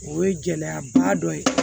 O ye gɛlɛyaba dɔ ye